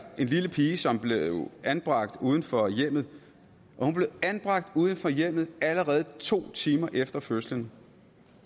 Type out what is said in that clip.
en lille pige som blev anbragt uden for hjemmet hun blev anbragt uden for hjemmet allerede to timer efter fødslen